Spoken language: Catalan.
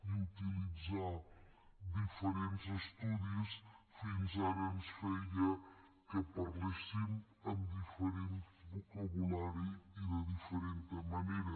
i utilitzar diferents estudis fins ara feia que parléssim amb diferent vocabulari i de diferent manera